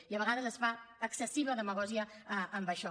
i a vegades es fa excessiva demagògia amb això